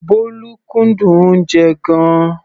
Bólú kúndùn oúnjẹ gan-an.